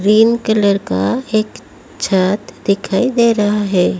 Green colour का एक छत दिखाई दे रहा है।